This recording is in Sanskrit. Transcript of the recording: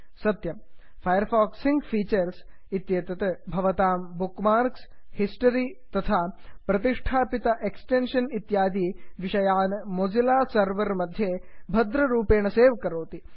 सत्यम् Firefox sync features Firefox sync features इत्येतत् भवतां बुक्मार्क्स् हिस्टरि तथा संस्थापित एक्स्टेन्षन् इत्यादि विषयान् मोझिल्ला सर्वर् मध्ये भद्ररूपेण सेव् करोति